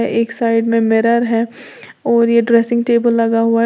एक साइड में मिरर है और यह ड्रेसिंग टेबल लगा हुआ है।